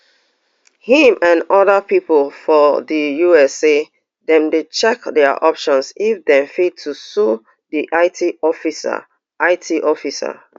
im and oda pipo for di us say dem dey check dia options if dem fit to sue di it officer it officer